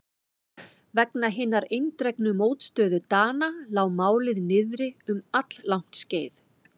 Vegna hinnar eindregnu mótstöðu Dana lá málið niðri um alllangt skeið.